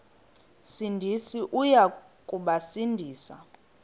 sindisi uya kubasindisa